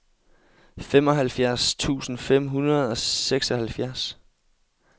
femoghalvfjerds tusind fem hundrede og seksoghalvfjerds